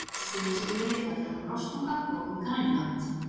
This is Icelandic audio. Textinn á síðunni fjallar um rostunga og um Grænland.